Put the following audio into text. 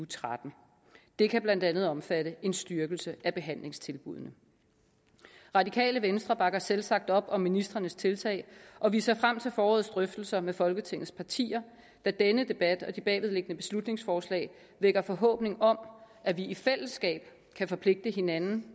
tretten det kan blandt andet omfatte en styrkelse af behandlingstilbuddene radikale venstre bakker selvsagt op om ministrenes tiltag og vi ser frem til forårets drøftelser med folketingets partier da denne debat og de bagvedliggende beslutningsforslag vækker forhåbning om at vi i fællesskab kan forpligte hinanden